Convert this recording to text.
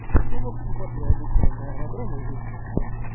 ну в общем вот я иду через аэродром вот здесь вот